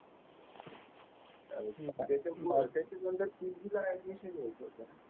अरे ते तू मार्केटिंग नंतर PG ला ऍडमिशन घ्यायचं होतं